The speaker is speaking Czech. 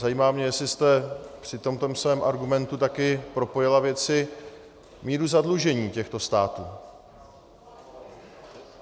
Zajímá mě, jestli jste při tomto svém argumentu také propojila věci... míru zadlužení těchto států?